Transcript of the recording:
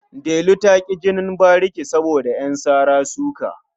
Delu ta ƙi jinin bariki saboda ƴan sara-suka.